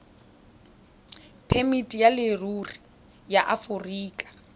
phemiti ya leruri ya aforika